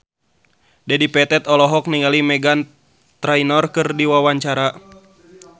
Dedi Petet olohok ningali Meghan Trainor keur diwawancara